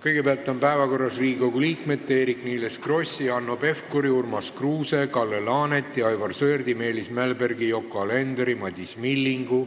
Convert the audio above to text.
Kõigepealt on päevakorras Riigikogu liikmete Eerik-Niiles Krossi, Hanno Pevkuri, Urmas Kruuse, Kalle Laaneti, Aivar Sõerdi, Meelis Mälbergi, Yoko Alenderi, Madis Millingu,